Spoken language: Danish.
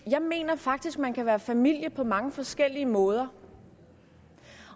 jeg mener faktisk at man kan være familie på mange forskellige måder